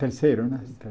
Terceiro, né?